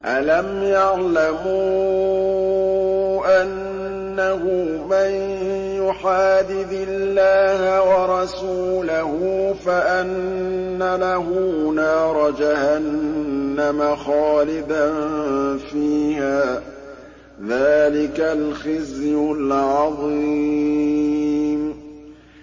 أَلَمْ يَعْلَمُوا أَنَّهُ مَن يُحَادِدِ اللَّهَ وَرَسُولَهُ فَأَنَّ لَهُ نَارَ جَهَنَّمَ خَالِدًا فِيهَا ۚ ذَٰلِكَ الْخِزْيُ الْعَظِيمُ